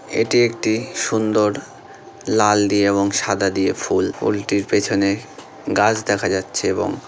এটি একটি সুন্দর লাল দিয়ে এবং সাদা দিয়ে ফুল ফুলটির পেছনে গাছ দেখা যাচ্ছে এবং --